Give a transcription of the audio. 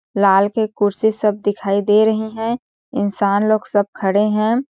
लाल के कुर्सी सब दिखाई दे रहे है इंसान लोग सब खड़े हैं।